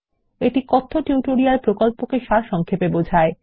এটি কথ্য টিউটোরিয়াল প্রকল্পকে সারসংক্ষেপে বোঝায়